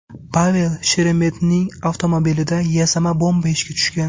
Pavel Sheremetning avtomobilida yasama bomba ishga tushgan.